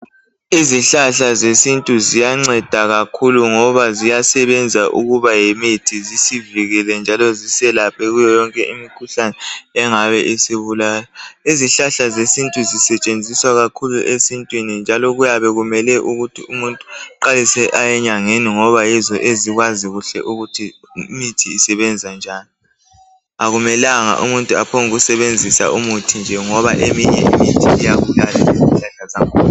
Izihlahla zesintu ziyanceda kakhulu ngoba ziyasebenza ukuba yimithi zisivikele njalo ziselaphe kiyo yonke imikhuhlane engabe isibulala. Izihlahla zesintu sisetshenziswa kakhulu esintwini, njalo kuyabe kumele ukuthi umuntu eqalise aye enyangeni ngoba yizo ezikwazi kuhle ukuthi umuthi usebenza njani. Akumelanga umuntu aphongusebenzisa umuthi nje ngoba eminye imithi iyabulala